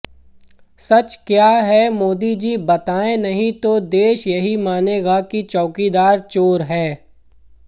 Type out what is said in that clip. सच क्या है मोदी जी बताएं नहीं तो देश यही मानेगा कि चैकीदार चोर है